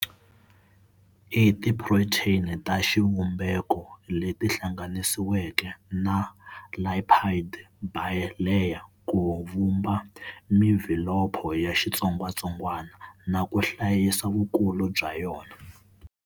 I tiphuritheni ta xivumbeko leti hlanganisiweke na lipid bilayer ku vumba mvhilopho ya xitsongwatsongwana na ku hlayisa vukulu bya yona.